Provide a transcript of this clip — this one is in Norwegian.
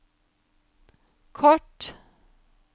kort